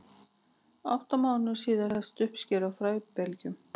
átta mánuðum síðar hefst uppskera á fræbelgjunum